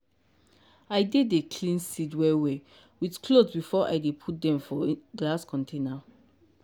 i dey dey clean seed well well with cloth before i dey put dem for glass container.